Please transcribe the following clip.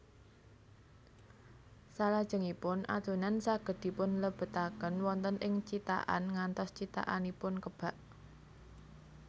Salajengipun adonan saged dipunlebetaken wonten ing cithakan ngantos cithakanipun kebak